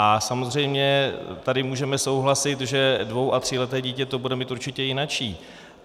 A samozřejmě tady můžeme souhlasit, že dvou- a tříleté dítě to bude mít určitě jinačí.